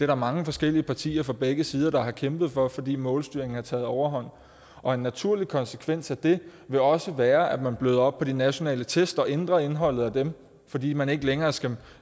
der mange forskellige partier fra begge sider der har kæmpet for fordi målstyringen har taget overhånd og en naturlig konsekvens af det vil også være at man bløder op på de nationale test og ændrer indholdet af dem fordi man ikke længere skal